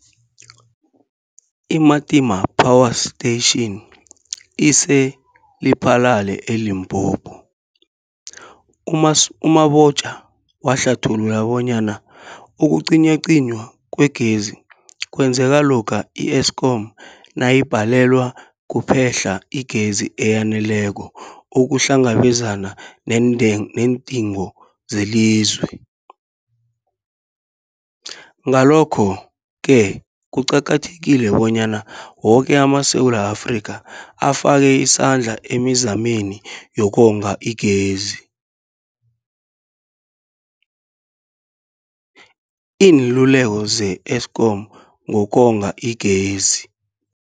I-Matimba Power Station ise-Lephalale, eLimpopo. U-Mabotja wahlathulula bonyana ukucinywacinywa kwegezi kwenzeka lokha i-Eskom nayibhalelwa kuphe-hla igezi eyaneleko ukuhlangabezana nendeng neendingo zelizwe. Ngalokho-ke kuqakathekile bonyana woke amaSewula Afrika afake isandla emizameni yokonga igezi. Iinluleko ze-Eskom ngokonga igezi.